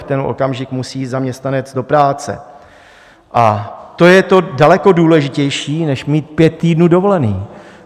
V ten okamžik musí zaměstnanec do práce a to je daleko důležitější než mít pět týdnů dovolené.